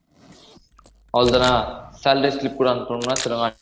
அவ்ளோ தானா salary slip லாம் அனுப்பனும்ன சொல்லுங்க வா